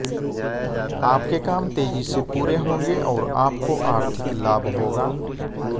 आपके काम तेजी से पूरे होंगे और आपको आर्थिक लाभ होगा